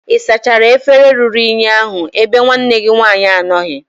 ị sachara efere ruru unyi ahu ebe nwanne gi nwaanyi anọghi?